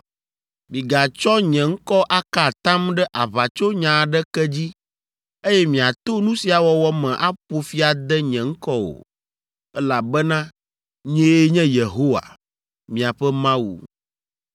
“ ‘Migatsɔ nye ŋkɔ aka atam ɖe aʋatsonya aɖeke dzi, eye miato nu sia wɔwɔ me aƒo fi ade nye ŋkɔ o, elabena nyee nye Yehowa, miaƒe Mawu.